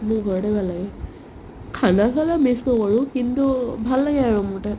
মোৰ ঘৰতে ভাল লাগে khana হ'লে miss নকৰো কিন্তু ভাল লাগে আৰু মোৰ তাত